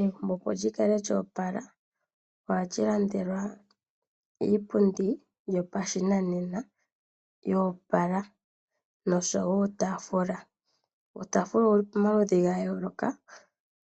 Egumbo opo lyi kale lyoopala ohali landelwa iipundi yopashinanena yoopala noshowo uutaafula. Uutaafula owu li pomaludhi ga yooloka